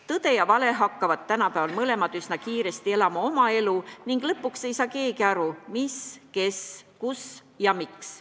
Tõde ja vale hakkavad tänapäeval mõlemad üsna kiiresti oma elu elama ning lõpuks ei saa keegi aru, mis, kes, kus ja miks.